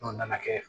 N'o nana kɛ